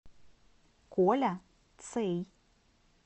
коля цей